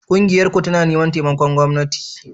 Ƙungiyarku tana neman taimakon gwamnati?